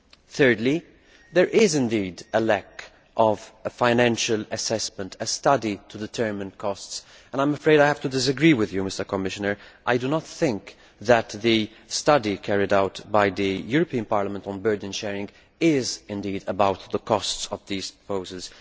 Thirdly, there is indeed a lack of a financial assessment, of a study to determine costs, and I am afraid I have to disagree with you, Commissioner I do not think that the study carried out by the European Parliament on burden sharing is about the costs of these proposals.